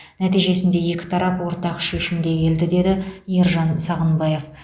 нәтижесінде екі тарап ортақ шешімге келді деді ержан сағынбаев